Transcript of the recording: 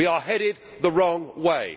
We are headed the wrong way.